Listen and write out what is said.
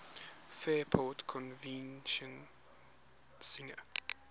fairport convention singer